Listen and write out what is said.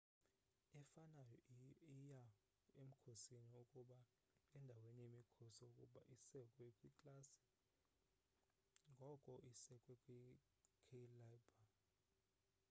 efanayo iya emkhosini kuba endaweni yemikhosi ukuba isekwe kwiklasi ngoku isekwe kwi-cailaber